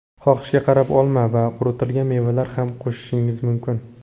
Xohishga qarab olma va quritilgan mevalar ham qo‘shishingiz mumkin.